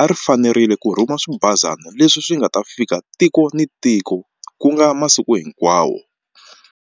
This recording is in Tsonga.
a ri fanerile ku rhuma swibazana leswi swi nga ta fika tiko ni tiko ku nga masiku hinkwawo.